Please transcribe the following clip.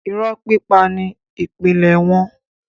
irọ́ pípa ni ìpìlẹ̀ wọn.